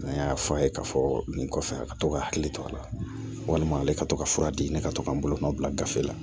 N y'a fɔ a ye k'a fɔ nin kɔfɛ a ka to ka hakili to a la walima ale ka to ka fura di ne ka to ka n bolo nɔ bila gafe la